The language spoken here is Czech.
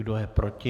Kdo je proti?